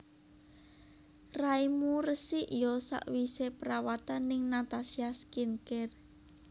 Raimu resik yo sakwise perawatan ning Natasha Skin Care